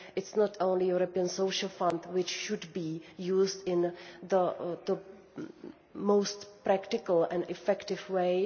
It is not only the European Social Fund which should be used in the most practical and effective